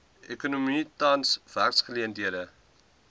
ekonomie tans werksgeleenthede